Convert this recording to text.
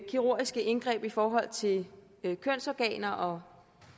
kirurgiske indgreb i forhold til kønsorganer og